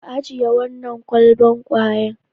Ka ajiye wannan kwalban kwayan.